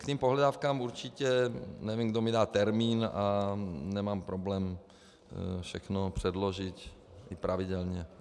K těm pohledávkám - určitě, nevím, kdo mi dá termín, ale nemám problém všechno předložit, i pravidelně.